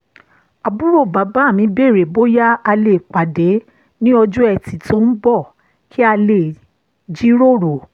àbúrò bàbá mi béèrè bóyá a lè pàdé ní ọjọ́ ẹtì tó ń bọ̀ kí a lè jiròrò